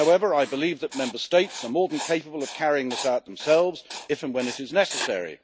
However, I believe that Member States are more than capable of carrying this out themselves, if and when it is necessary.